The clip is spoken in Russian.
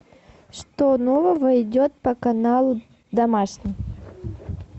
что нового идет по каналу домашний